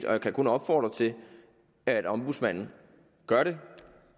og jeg kan kun opfordre til at ombudsmanden gør det